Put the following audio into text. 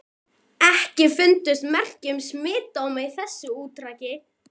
EKKI FUNDUST MERKI UM SMITSJÚKDÓMA Í ÞESSU ÚRTAKI.